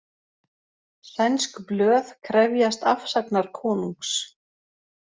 Sænsk blöð krefjast afsagnar konungs